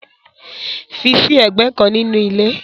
Fi sí ẹ̀gbẹ́ kan nínú ilé.